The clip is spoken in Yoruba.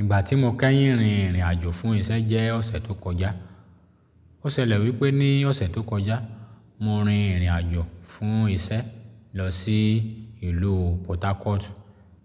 Ìgbà tí mo kẹ́yìn rin ìrìn àjò fún iṣẹ́ jẹ́ ọ̀sẹ̀ tó kọjá. Ó ṣẹlẹ̀ wípé ní ọ̀sẹ̀ tó kọjá, mo rin ìrìn àjò fún iṣẹ́ lọ sí ìlú Port Harcourt